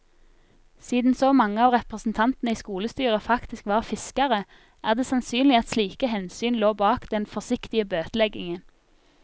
Siden så mange av representantene i skolestyret faktisk var fiskere, er det sannsynlig at slike hensyn lå bak den forsiktige bøteleggingen.